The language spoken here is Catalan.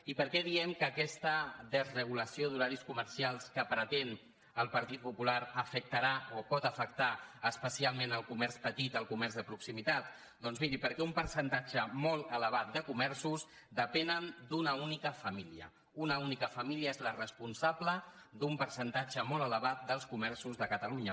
i per què diem que aquesta desregulació d’horaris comercials que pretén el partit popular afectarà o pot afectar especialment el comerç petit el comerç de proximitat doncs miri perquè un percentatge molt elevat de comerços depenen d’una única família una única família és la responsable d’un percentatge molt elevat dels comerços de catalunya